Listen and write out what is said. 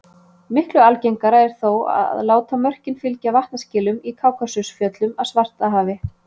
Miklu algengara er þó að láta mörkin fylgja vatnaskilum í Kákasusfjöllum að Svartahafi.